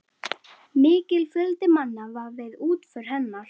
Mikill fjöldi manna var við útför hennar.